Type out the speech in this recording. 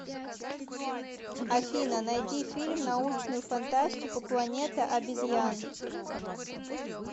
афина найди фильм научную фантастику планета обезьян